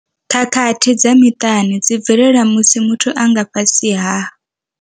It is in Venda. Khakhathi dza muṱani dzi bvelela musi muthu a nga fhasi ha.